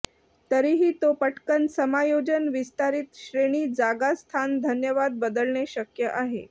तरीही तो पटकन समायोजन विस्तारित श्रेणी जागा स्थान धन्यवाद बदलणे शक्य आहे